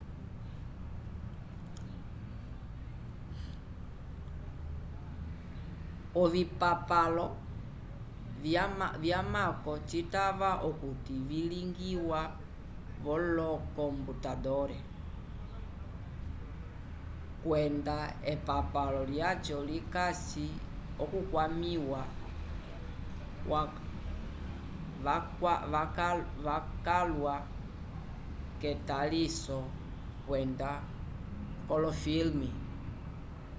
ovipapalo vyamako citava okuti vilingiwa v'olokomputandole kwenda epapalo lyaco likasi okukwamĩwa wacalwa k'etaliso kwenda k'olofilme